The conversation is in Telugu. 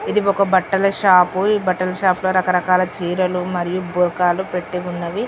ఇది ఒక బట్టల షాప్ ఈ బట్టల షాప్లో రకరకాల చీరలు మరియు బుర్కాలు పెట్టి ఉన్నవి.